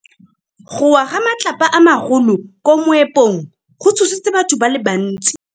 Go wa ga matlapa a magolo ko moepong go tshositse batho ba le bantsi.